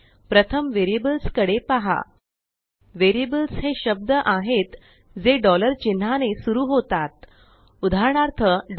प्रथम वेरिअबल्सकडे पहा वेरिअबल्सहे शब्द आहेत जे चिन्हाने सुरु होतात उदाहरणार्थ a